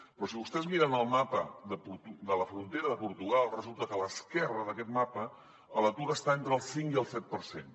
però si vostès miren el mapa de la frontera de portugal resulta que a l’esquerra d’aquest mapa l’atur està entre el cinc i el set per cent